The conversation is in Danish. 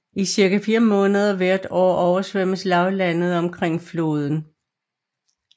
I cirka 4 måneder hvert år oversvømmes lavlandet omkring floden